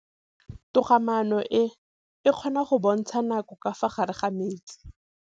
Toga-maanô e, e kgona go bontsha nakô ka fa gare ga metsi.